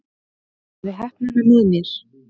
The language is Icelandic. Hafði heppnina með mér